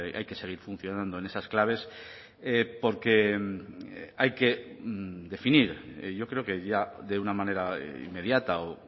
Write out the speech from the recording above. hay que seguir funcionando en esas claves porque hay que definir yo creo que ya de una manera inmediata o